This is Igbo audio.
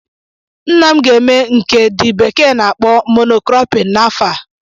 Nna m ga eme nke the bekee na akpọ "mono cropping" n'afọ a